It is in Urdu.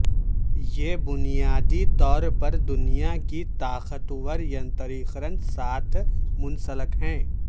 یہ بنیادی طور پر دنیا کی طاقتور ینتریقرن ساتھ منسلک ہے